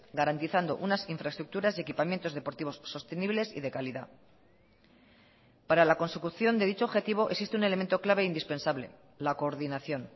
garantizando unas infraestructuras y equipamientos deportivos sostenibles y de calidad para la consecución de dicho objetivo existe un elemento clave e indispensable la coordinación